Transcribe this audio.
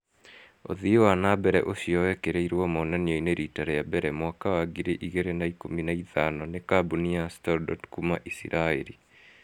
Ũthii wa na mbere ũcio wekĩrĩrwo monanio-inĩ rita rĩa mbere, mwaka wa ngiri igĩrĩ na ikũmi na ithano nĩ kambuni ya StoreDot kuma Israel